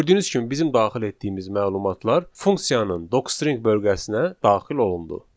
Gördüyünüz kimi bizim daxil etdiyimiz məlumatlar funksiyanın docstring bölgəsinə daxil olundu.